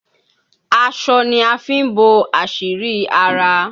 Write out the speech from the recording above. Aṣọ ni a fi ń bo àṣírí ara.